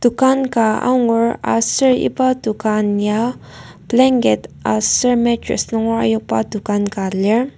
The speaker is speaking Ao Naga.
dokan ka angur aser iba dokan ya blanket aser matress nunger ayokba dokan ka lir.